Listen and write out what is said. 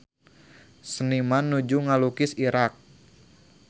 Seniman nuju ngalukis Irak